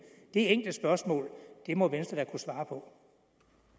det enkle spørgsmål må venstre da kunne svare på